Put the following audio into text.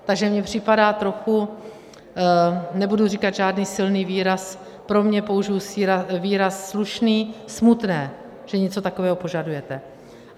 Takže mi připadá trochu - nebudu říkat žádný silný výraz, pro mě použiji výraz slušný, smutné, že něco takového požadujete.